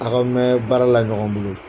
A' ka mɛn baara la ɲɔgɔn bolo.